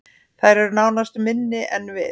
Þær eru nánast minni en við